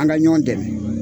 An ka ɲɔ dɛmɛ